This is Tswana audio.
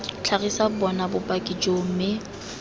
tlhagisa bona bopaki joo mme